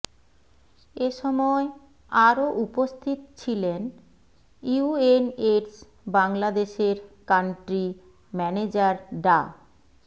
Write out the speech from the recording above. এসময় আরও উপস্থিত ছিলেন ইউএনএইডস বাংলাদেশের কান্ট্রি ম্যানেজার ডা